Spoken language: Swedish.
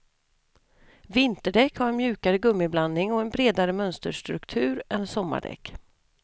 Vinterdäck har en mjukare gummiblandning och en bredare mönsterstruktur än sommardäck.